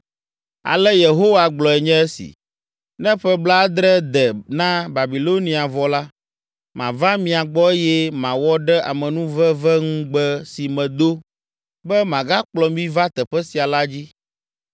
Ale Yehowa gblɔe nye esi: “Ne ƒe blaadre de na Babilonia vɔ la, mava mia gbɔ eye mawɔ ɖe amenuveveŋugbe si medo, be magakplɔ mi va teƒe sia la dzi.